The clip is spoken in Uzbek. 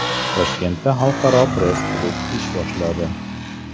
Toshkentda xalqaro press-klub ish boshladi.